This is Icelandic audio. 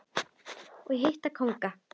og hitta kónga.